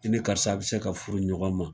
I ni karisa be se ka furu ɲɔgɔn ma.